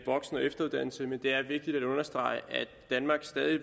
voksen og efteruddannelse men det er vigtigt at understrege at danmark stadig